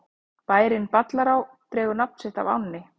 Bærinn Ballará dregur nafn sitt af ánni.